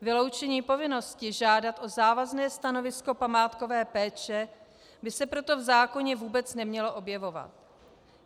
Vyloučení povinnosti žádat o závazné stanovisko památkové péče by se proto v zákoně vůbec nemělo objevovat.